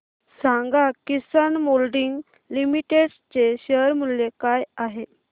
सांगा Kisan moulding limited चे share मूल्य काय आहे